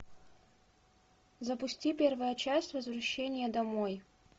запусти первая часть возвращение домой